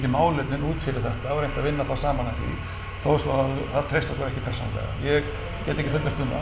málefnin út fyrir þetta og reynt að vinna þá saman að því þó svo það treysti okkur ekki persónulega ég get ekki fullyrt um